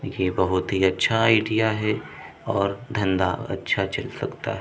देखिये बहोत ही अच्छा एरिया है और धंधा चल सकता है।